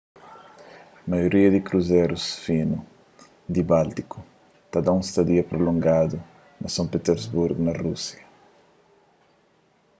maioria di kruzerus finu di báltiku ta da un stadia prulongadu na son pitersburgu na rúsia